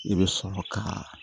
I bɛ sɔrɔ ka